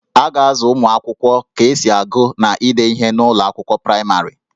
A ga-azụ ụmụ akwụkwọ ka esi agụ na ide ihe n'ụlọ akwụkwọ praịmarị